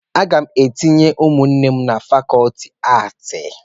Aga m etinye ụmụnne m na fakọlti aatị